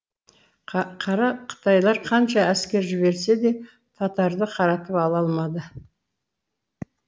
қара қытайлар қанша әскер жіберсе де татарды қаратып ала алмады